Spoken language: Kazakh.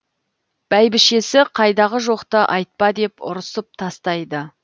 бәйбішесі қайдағы жоқты айтпа деп ұрсып тастайды